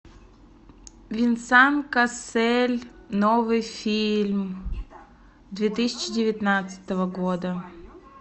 венсан кассель новый фильм две тысячи девятнадцатого года